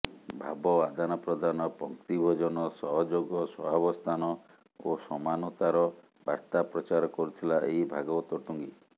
ଭାବ ଆଦାନପ୍ରଦାନ ପଙ୍କ୍ତିଭୋଜନ ସହଯୋଗ ସହାବସ୍ଥାନ ଓ ସମାନତାର ବାର୍ତ୍ତା ପ୍ରଚାର କରୁଥିଲା ଏଇ ଭାଗବତ ଟୁଙ୍ଗି